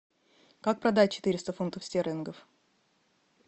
как продать четыреста фунтов стерлингов